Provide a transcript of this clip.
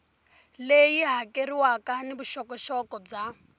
leyi hakeriwaka ni vuxokoxoko bya